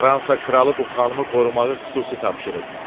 Fransa kralı bu xanımı qorumağı xüsusi tapşırıb.